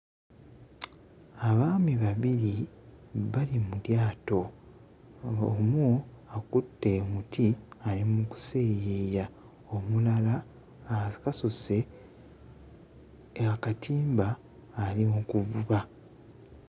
Abaami babiri bali mu lyato, omu akutte muti ali mu kuseeyeeya, omulala akasuse akatimba ali mu kuvuba.